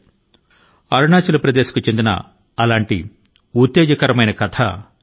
అటువంటి ఒక ప్రేరణాత్మకమైన గాథ ను ప్రసార మాధ్యమాల ద్వారా చదివే అవకాశం నాకు చిక్కింది